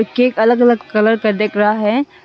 Cake अलग अलग colour का दिख रहा है।